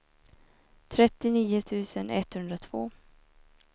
trettionio tusen etthundratvå